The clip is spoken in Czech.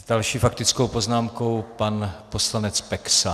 S další faktickou poznámkou pan poslanec Peksa.